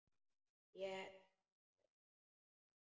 Lét Lenu um sitt.